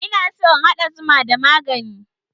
Ina so in haɗa zuman da magani